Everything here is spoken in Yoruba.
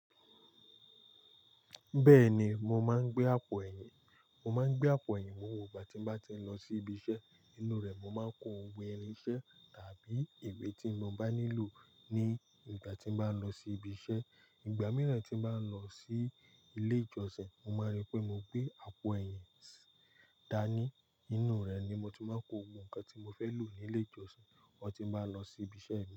Bẹ́ẹ̀ni, mo máa ń gbé àpò ẹ̀yìn. Mo máa ń gbé àpò ẹ̀yìn gbogbo ìgbà ti ń bá tí ń lọ sí ibi iṣẹ́. Nínú rẹ̀, mo máa ń kó ohun ìṣe tàbí ìwé tí mo bá nílò ní ìgbà tí mo bá ń lọ sí ibi iṣẹ́. Ìgbà mìíràn tí mo bá ń lọ sí ilé ìjọsìn, mo máa rí pé mo gbé àpò ẹ̀yìn dání. Nínú rẹ̀ ni mo ti máa ń kó ohun kan tí mo fẹ́ lò ní ilé ìjọsìn mo ti bá lọ sí ibi iṣẹ́ mi.